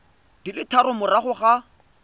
di le tharo morago ga